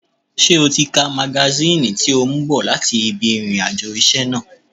Ṣé o ti ka magasíìnì tí o mú bọ̀ láti ibi ìrìn àjò iṣẹ́ náà?